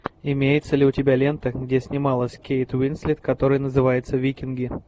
имеется ли у тебя лента где снималась кейт уинслет которая называется викинги